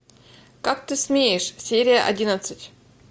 как ты смеешь серия одиннадцать